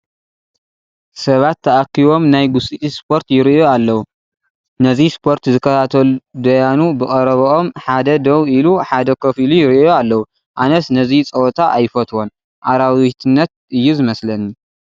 ሰባት ተኣኪቦም ናይ ጉስጢት ስፖርት ይርእዩ ኣለዉ፡፡ ነዚ ስፖርቲ ዝከታተሉ ደያኑ ብቐረቦም ሓደ ደው ኢሉ ሓደ ኮፍ ኢሉ ይርአዩ ኣለዉ፡፡ ኣነስ ነዚ ፀወታ ኣይፈትዎን፡፡ ኣራዊትነት እዩ ዝመስለኒ፡፡